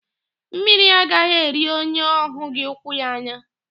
Mmiri agaghị eri onye ọ hụghị ụkwụ ya anya.